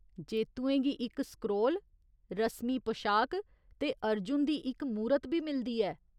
जेत्तुएं गी इक स्क्रोल, रस्मी पशाक ते अर्जुन दी इक मूरत बी मिलदी ऐ।